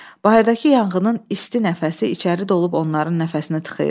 Bayırdakı yanğının isti nəfəsi içəri dolub onların nəfəsini tıxayırdı.